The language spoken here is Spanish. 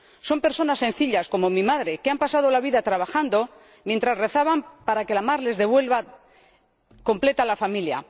Son personas sencillas, como mi madre, que se han pasado la vida trabajando mientras rezaban para que la mar les devolviera completa la familia.